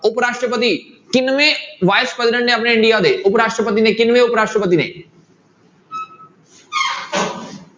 ਉਪਰਾਸ਼ਟਰਤੀ ਕਿੰਨਵੇਂ vice president ਨੇ ਆਪਣੇ ਇੰਡੀਆ ਦੇ ਉਪਰਾਸ਼ਟਰਪਤੀ ਨੇ ਕਿੰਨਵੇਂ ਉਪਰਾਸ਼ਟਰਪਤੀ ਨੇ